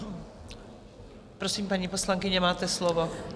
Prosím, paní poslankyně, máte slovo.